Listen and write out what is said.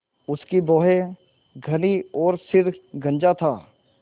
उसकी भौहें घनी और सिर गंजा था